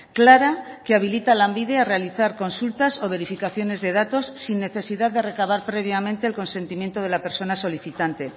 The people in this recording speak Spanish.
clara que habilita a lanbide a realizar consultas o verificaciones de datos sin necesidad de recabar previamente el consentimiento de la persona solicitante